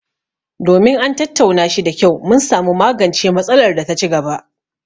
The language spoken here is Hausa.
Domin an tattauna shi da kyau, mun samu magancen matsalar da ta ci gaba;